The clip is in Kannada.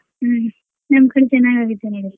ಹ್ಮ್ ನಮ್ ಕಡೆ ಚೆನ್ನಾಗ್ ಆಗುತ್ತೆ .